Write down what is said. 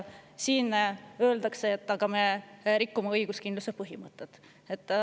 Siin öeldakse, et aga me rikuks õiguskindluse põhimõtet.